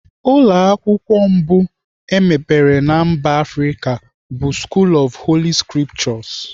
Ụlọ akwụkwọ mbụ emepere na mba Afrịka bụ School of Holy scriptures.